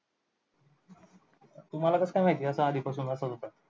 तुम्हाला कसं काय माहिती असं आधीपासून असंच होतंय?